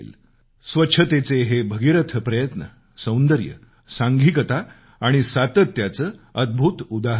स्वच्छतेचे हे भगीरथ प्रयत्न सौंदर्य सांघिकता आणि सातत्याचं अद्भुत उदाहरण आहे